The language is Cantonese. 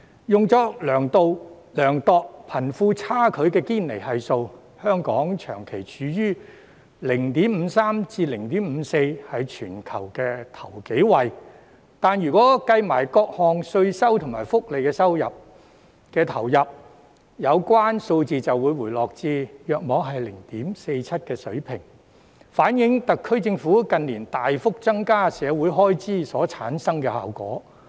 用作量度貧富差距的堅尼系數，香港長期處於 0.53 至 0.54 的水平，是全球首數位，但如果計算各項稅收及福利投入，有關數字便會回落至約 0.47 的水平，反映出特區政府近年大幅增加社會開支所產生的效果。